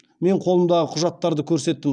мен қолымдағы құжаттарды көрсеттім